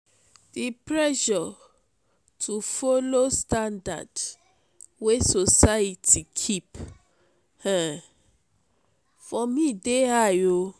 di pressure to folo standard wey society keep um for me dey high.